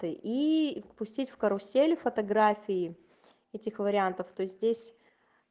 и впустить в карусели фотографии этих вариантов то здесь